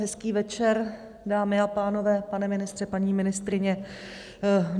Hezký večer, dámy a pánové, pane ministře, paní ministryně.